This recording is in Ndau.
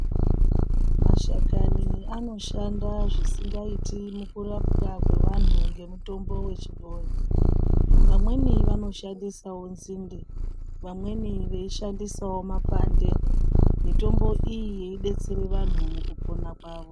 Mashakani anoshandazvisikaiti mukurapwa kwevantu ngemutombo wechibhoyi vamweni vanoshandisawo nzinde vamweni veishandisawo mapande mitombo iyi yeidetsera vanhu mukupona kwavo.